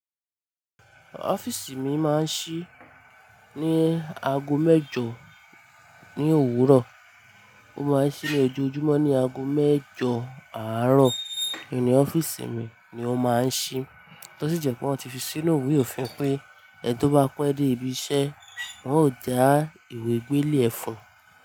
Ọ́fíìsì mi máa ń ṣí ní aago mẹ́jọ ní òwúrọ̀, ó máa ń ṣí ní ojọ ojúmọ́ ní aago mẹ́jọ àárọ̀. Nínú ọ́fíìsì mi ni ó máa ń ṣí. Tótí jẹ́ pé wọ́n ti fi sínú ìwé òfin pé ẹni tó bá pẹ́ dé ibi iṣẹ́, wọn ó dà ìwé gbélé ẹ fún un.